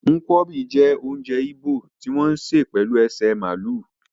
Nkwọbi jé ounjẹ igbo ti wọn se pelu ese maalu se